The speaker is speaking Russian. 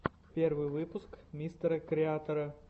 первый выпуск мистера креатора